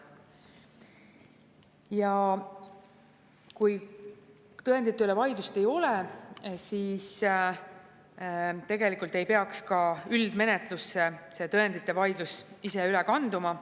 Ja kui tõendite üle vaidlust ei ole, siis ei tohiks tõendite vaidlus ka üldmenetlusse üle kanduda.